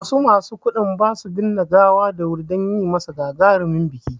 Wasu masu kuɗi basu binne gawa da wuri dan yimasa gagarumin biki